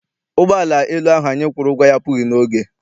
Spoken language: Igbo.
Ụgbọala elu ahụ anyị kwụrụ ụgwọ ya apụghị n'oge.